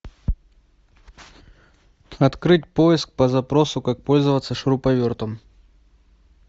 открыть поиск по запросу как пользоваться шуруповертом